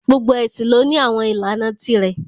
Gbogbo ẹ̀sìn lọ ní àwọn ìlànà ti rẹ̀